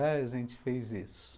A gente fez isso.